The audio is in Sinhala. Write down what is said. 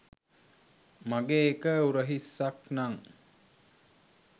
මගේ එක උරහිස්සක් නං